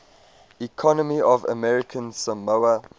economy of american samoa